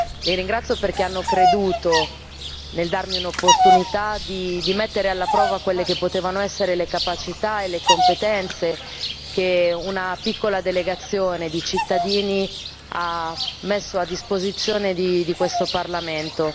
Li ringrazio perché hanno creduto, nel darmi un'opportunità, di mettere alla prova quelle che potevano essere le capacità e le competenze che una piccola delegazione di cittadini ha messo a disposizione di questo Parlamento.